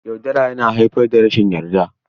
Yaudara yana haifar da rashin yarda.